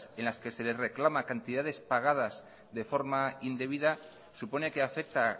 en las que se les reclama cantidades pagadas de forma indebida supone que afecta